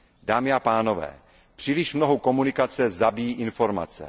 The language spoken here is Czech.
Dámy a pánové, příliš mnoho komunikace zabíjí informace.